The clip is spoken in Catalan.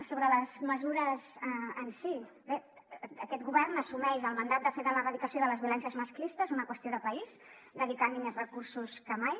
sobre les mesures en si bé aquest govern assumeix el mandat de fer de l’erradicació de les violències masclistes una qüestió de país dedicant hi més recursos que mai